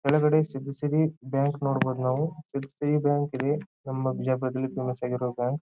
ಕೆಳಗಡೆ ಸಿದ್ದಿಸಿರಿ ಬ್ಯಾಂಕ್ ನೋಡ್ಬೋದು ನಾವು ಎಫ್.ಸಿ. ಬ್ಯಾಂಕ್ ಇದೆ ನಮ್ಮ ಬಿಜಾಪುರದಲ್ಲಿ ಫೇಮಸ್ ಆಗಿರೋ ಬ್ಯಾಂಕ್ .